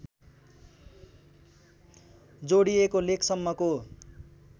जोडिएको लेकसम्मको